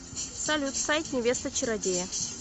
салют сайт невеста чародея